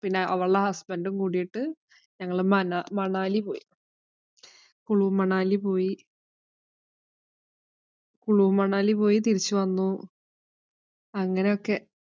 പിന്നെ അവള്‍ടെ husband ഉം കൂടിട്ട് മനാ മണാലി പോയി. കുളു മണലി പോയി. കുളു മണാലി പോയി തിരിച്ചു വന്നു അങ്ങനൊക്കെ.